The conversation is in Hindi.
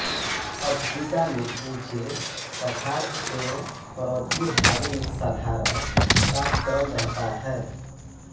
अफ़्रीका में ऊँचे पठार एवं पर्वतीय भागों में साधारण तापक्रम रहता है